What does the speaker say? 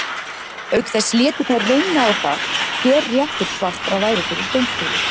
Auk þess létu þær reyna á það hver réttur svartra væri fyrir dómstólum.